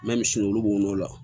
misi olu b'o n'o la